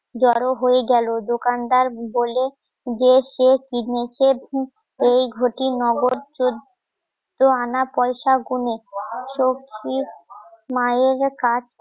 লোক জড়ো হয়ে গেলো দোকানদার বলে যে কে এই ঘটি নগদ চোদ্দো আনা পয়সা গুনে সৌখি মায়ের